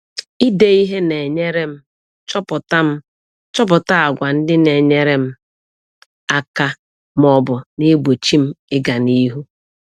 Ide ihe na-enyere m chọpụta m chọpụta àgwà ndị na-enyere m aka ma ọ bụ na-egbochi m ịga n’ihu.